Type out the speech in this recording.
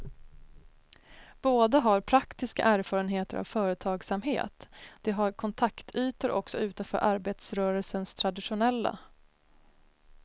Båda har praktiska erfarenheter av företagsamhet, de har kontaktytor också utanför arbetarrörelsens traditionella.